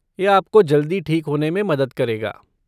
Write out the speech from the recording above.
यह आपको जल्दी ठीक होने में मदद करेगा।